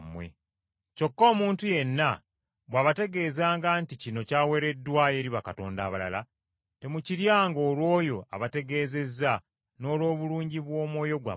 Kyokka omuntu yenna bw’abategeezanga nti, “Kino kyaweereddwayo eri bakatonda abalala,” temukiryanga olw’oyo abategeezezza n’olw’obulungi bw’omwoyo gwammwe,